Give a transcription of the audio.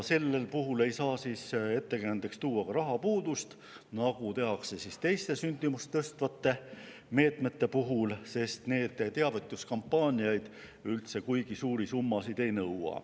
Sel puhul ei saa ettekäändeks tuua ka rahapuudust, nagu tehakse teiste sündimust tõstvate meetmete puhul, sest sellised teavituskampaaniad ei nõua üldse kuigi suuri summasid.